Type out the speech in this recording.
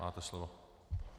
Máte slovo.